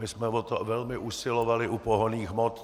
My jsme o to velmi usilovali u pohonných hmot.